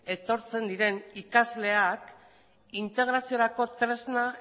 etortzen diren ikasleak integraziorako tresna